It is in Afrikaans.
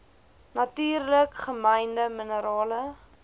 natuurlik gemynde minerale